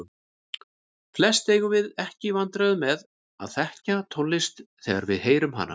Flest eigum við ekki í vandræðum með að þekkja tónlist þegar við heyrum hana.